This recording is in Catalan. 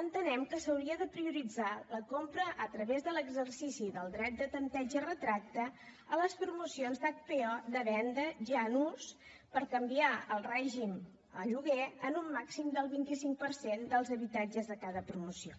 entenem que s’hauria de prioritzar la compra a través de l’exercici del dret de tanteig i retracte a les promocions d’hpo de venda ja en ús per canviar de règim a lloguer en un màxim del vint cinc per cent dels habitatges de cada promoció